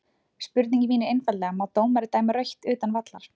Spurningin mín er einfaldlega má dómari dæma rautt utan vallar?